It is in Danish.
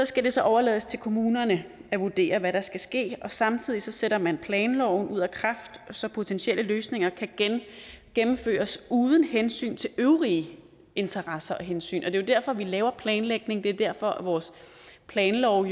skal det så overlades til kommunerne at vurdere hvad der skal ske og samtidig sætter man planloven ud af kraft så potentielle løsninger kan gennemføres uden hensyn til øvrige interesser og hensyn det er jo derfor vi laver planlægning det er derfor vores planlov